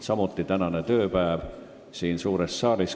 Samuti on läbi saanud tänane tööpäev siin suures saalis.